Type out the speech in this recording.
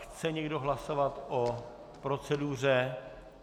Chce někdo hlasovat o proceduře?